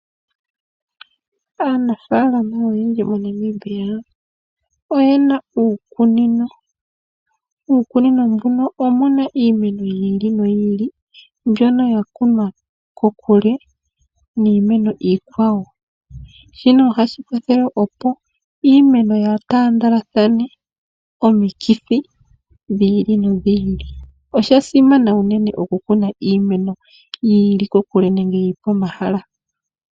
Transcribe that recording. Aanafalama oyendji moNamibia oyena uukunino. Uukunino mbuno omuna iimeno yi ili no yi ili mbyono ya kunwa kokule niimeno iikwawo, shino ohashi kwathele opo iimeno yaatandalathane omikithi dhi ili nodhi ili. Oshasimana uunene oku kuna iimeno yi ili kokule nenge yipa omahala.